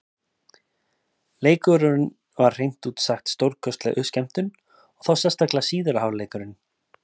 Leikurinn var hreint út sagt stórkostleg skemmtun, og þá sérstaklega síðari hálfleikurinn.